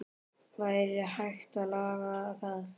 Væri hægt að laga það?